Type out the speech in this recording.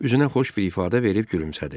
Üzünə xoş bir ifadə verib gülümsədi.